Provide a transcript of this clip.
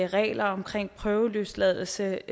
reglerne omkring prøveløsladelse